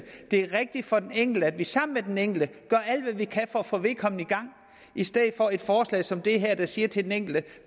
det er rigtigt for den enkelte at vi sammen med den enkelte gør alt hvad vi kan for at få vedkommende i gang i stedet for at et forslag som det her siger til den enkelte